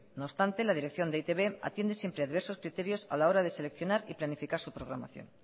no obstante la dirección de e i te be atiende siempre a diversos criterios a la hora de seleccionar y planificar su programación